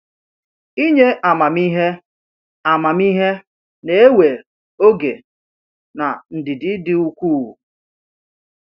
Inye amamihe amamihe na-ewe oge na ndidi dị ukwuu.